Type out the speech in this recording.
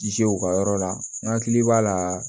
Zew ka yɔrɔ la n hakili b'a la